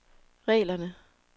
reglerne